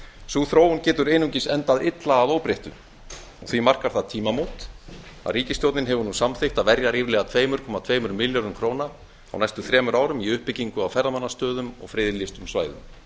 sú þróun getur einungis endað illa að óbreyttu og því markar það tímamót að ríkisstjórnin hefur nú samþykkt að verja ríflega tvö komma tveimur milljörðum króna á næstu þremur árum í uppbyggingu á ferðamannastöðum og friðlýstum svæðum